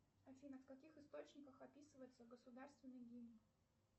афина в каких источниках описывается государственный гимн